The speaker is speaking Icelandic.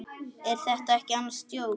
Er þetta ekki annars djók?